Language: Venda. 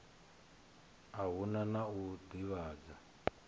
a hu na u ḓivhadzwa